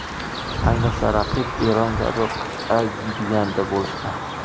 Ayniqsa raqib Eron kabi qit’a giganti bo‘lsa.